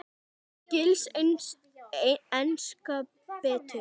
Skilst enskan betur?